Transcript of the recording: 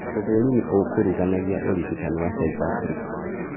ũthũrimi ũkuruganagia ũrigitani wa psychiatric